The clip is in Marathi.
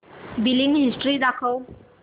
बिलिंग हिस्टरी दाखव